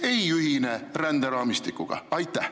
Nemad ei ühine ränderaamistikuga?